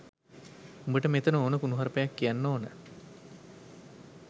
උඹට මෙතන ඕන කුණුහරුපයක් කියන්න ඕන